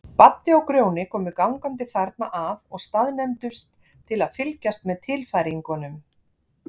Baddi og Grjóni komu gangandi þarna að og staðnæmdust til að fylgjast með tilfæringunum.